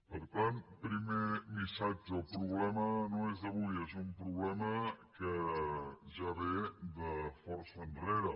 per tant primer missatge el problema no és d’avui és un problema que ja ve de força enrere